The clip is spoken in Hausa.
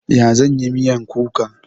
Ya zan yi miyan kuka?